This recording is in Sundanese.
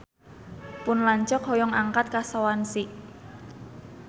Pun lanceuk hoyong angkat ka Swansea